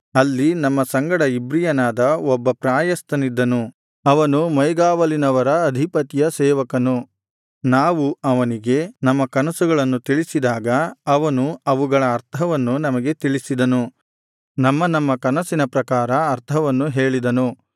ಅಲ್ಲಿ ನಮ್ಮ ಸಂಗಡ ಇಬ್ರಿಯನಾದ ಒಬ್ಬ ಪ್ರಾಯಸ್ಥನಿದ್ದನು ಅವನು ಮೈಗಾವಲಿನವರ ಅಧಿಪತಿಯ ಸೇವಕನು ನಾವು ಅವನಿಗೆ ನಮ್ಮ ಕನಸುಗಳನ್ನು ತಿಳಿಸಿದಾಗ ಅವನು ಅವುಗಳ ಅರ್ಥವನ್ನು ನಮಗೆ ತಿಳಿಸಿದನು ನಮ್ಮ ನಮ್ಮ ಕನಸಿನ ಪ್ರಕಾರ ಅರ್ಥವನ್ನು ಹೇಳಿದನು